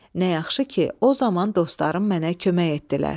Nə yaxşı ki, o zaman dostlarım mənə kömək etdilər.